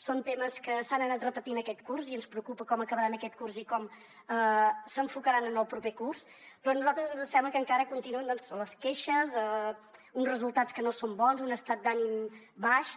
són temes que s’han anat repetint aquest curs i ens preocupa com acabaran aquest curs i com s’enfocaran en el proper curs però a nosaltres ens sembla que encara continuen les queixes uns resultats que no són bons un estat d’ànim baix